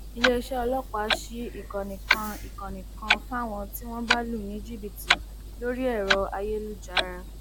iléeṣẹ ọlọpàá sí ìkànnì kan ìkànnì kan fáwọn tí wọn bá lù ní jìbìtì lórí ẹrọ ayélujára